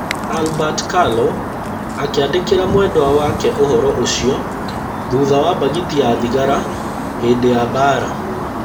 Albert Carlow akĩandĩkĩra mwendwa wake ũhoro ũcio thutha wa mbagiti ya thigara hĩndĩ ya mbara